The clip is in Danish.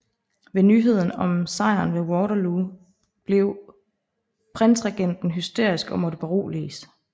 Ved nyheden om sejren ved Waterloo blev prinsregenten hysterisk og måtte beroliges